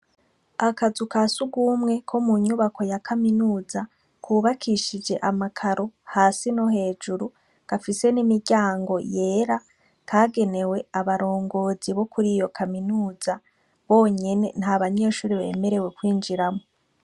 Akazu ka sugumwe ko mu nyubako ya kaminuza kubakishije ama karo, hasi no hejuru, gafise n'imiryango yera. Kagenewe abarongozi bo kuri iyo kaminuza bonyene, nta banyeshure bemerewe kwinjiramwo.